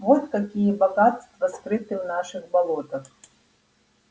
вот какие богатства скрыты в наших болотах